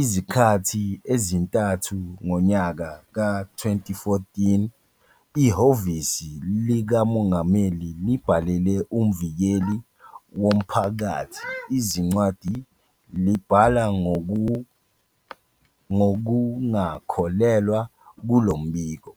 Izikhathi ezintathu ngonyaka ka-2014, iHhovisi likaMongameli libhalele uMvikeli Womphakathi izincwadi libhala ngokungakholelwa kulo mbiko.